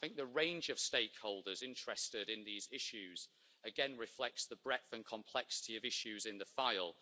The range of stakeholders interested in these issues again reflects the breadth and complexity of issues in the file.